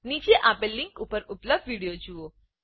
નીચે આપેલ લીંક ઉપર ઉપલબ્ધ વિડીયો જુઓ